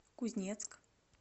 кузнецк